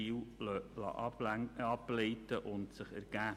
Genau das ist eine wesentliche Erkenntnis des Finanzkontrollberichts.